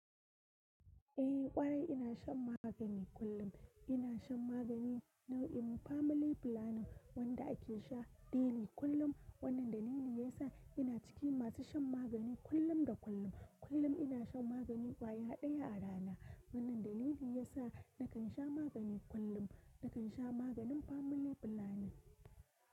Eh ƙwarai ina shan magani kullum. Ina shan magani nau'in family planning wanda ake sha daily kullum. Wannan dalili yasa ina cikin masu shan magani kullum da kullum. Kullum ina shan magani kwaya ɗaya a rana. Wannan dalili yasa nakan sha magani kullum. Nakan sha maganin familiflanin.